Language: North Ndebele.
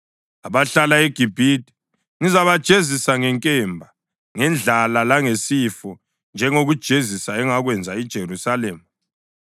Abahlala eGibhithe ngizabajezisa ngenkemba, ngendlala langesifo, njengokujezisa engakwenza iJerusalema.